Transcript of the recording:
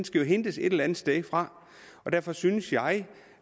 skal hentes et eller andet sted og derfor synes jeg